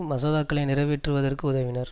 மசோதாக்களை நிறைவேற்றுவதற்கு உதவினர்